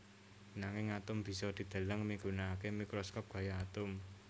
Nanging atom bisa dideleng migunakaké mikroskop gaya atom